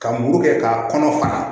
Ka muru kɛ k'a kɔnɔ fara